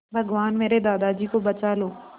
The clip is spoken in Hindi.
भगवान मेरे दादाजी को बचा लो